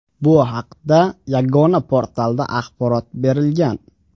Bu haqda Yagona portalda axborot berilgan .